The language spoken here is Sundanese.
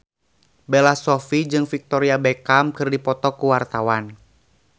Bella Shofie jeung Victoria Beckham keur dipoto ku wartawan